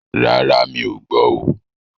Rárá, mí ọ̀ gbọ́ oo.